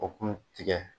O kun tigɛ